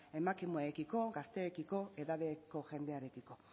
emakumeekiko gazteekiko edadeko jendearekiko